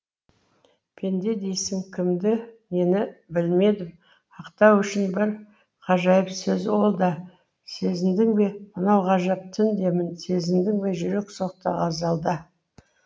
пенде дейсің кімді нені білмедім ақтау үшін бір ғажайып сөз ол да сезіндің бе мынау ғажап түн демін сезіндің бе жүрек соқты ғазалда